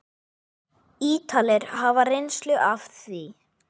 Ítalir hafa reynslu af því.